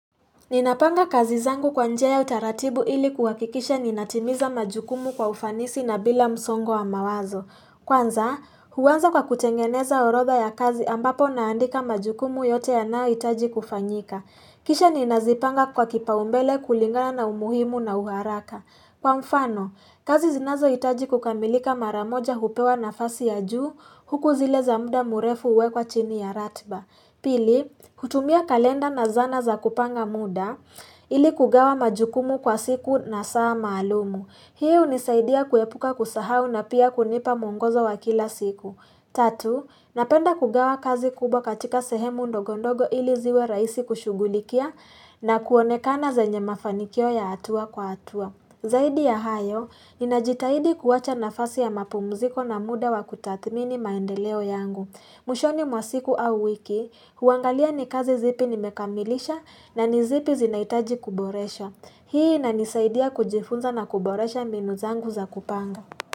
Ninapanga kazi zangu kwa njia ya utaratibu ili kuhakikisha ninatimiza majukumu kwa ufanisi na bila msongo wa mawazo. Kwanza, huanza kwa kutengeneza orodha ya kazi ambapo naandika majukumu yote yanayohitaji kufanyika. Kisha ninazipanga kwa kipaumbele kulingana na umuhimu na uharaka. Kwa mfano, kazi zinazohitaji kukamilika mara moja hupewa nafasi ya juu huku zile za muda murefu huwekwa chini ya ratba. Pili, kutumia kalenda na zana za kupanga muda ili kugawa majukumu kwa siku na saa maalumu. Hii hunisaidia kuepuka kusahau na pia kunipa muongozo wa kila siku. Tatu, napenda kugawa kazi kubwa katika sehemu ndogo ndogo ili ziwe rahisi kushugulikia na kuonekana zenye mafanikio ya hatua kwa hatua. Zaidi ya hayo, ninajitahidi kuwacha nafasi ya mapumziko na muda wa kutathmini maendeleo yangu. Mwishoni mwa siku au wiki, huangalia ni kazi zipi nimekamilisha na ni zipi zinahitaji kuboresha. Hii inanisaidia kujifunza na kuboresha mbinu zangu za kupanga.